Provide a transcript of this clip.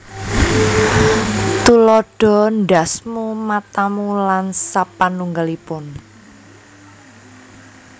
Tuladha ndhasmu matamu lan sapanungggalipun